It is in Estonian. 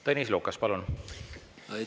Tõnis Lukas, palun!